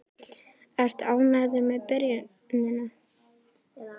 Ertu ánægður með byrjunina?